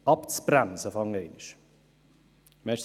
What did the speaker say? Das ist einfach ein Fakt.